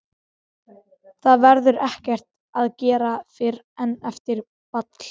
Það verður ekkert að gera fyrr en eftir ball.